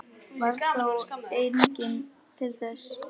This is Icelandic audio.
Varð þá enginn til þess.